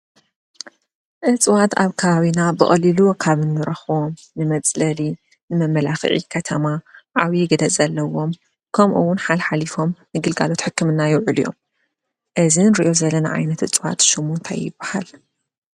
እዚዋት ኣብ ከባቢና ብቀሊሉ ካብ ንረክቦም ንመፅለሊ ንመመልክዒ ከተማ ዓብዪ ግደ ዘለዎም ከምኡ እውን ሓልሓሊፎም ንግልጋሎት ሕክምና ይውዕሉ እዮም። እዚ ንሪኦ ዘለና ዓይነት እፅዋት ሽሙ እንታይ ይበሃል ?